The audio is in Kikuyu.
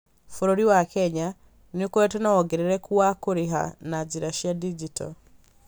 Bũrũri wa Kenya nĩ ũkoretwo na wongerereku wa kũrĩha na njĩra cia digito.